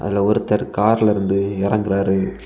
இதுல ஒருத்தர் கார்லெருந்து இறங்குறாரு.